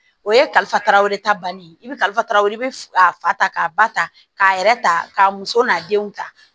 O ye kalifaraw ta banni i bɛ kalifaraw i bɛ a fa k'a ba ta k'a yɛrɛ ta k'a muso n'a denw ta